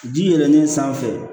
Ji yɛlɛlen sanfɛ